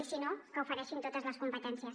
i si no que ofereixin totes les competències